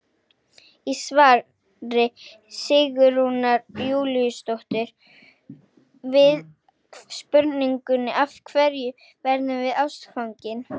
Í svari Sigrúnar Júlíusdóttur við spurningunni Af hverju verðum við ástfangin?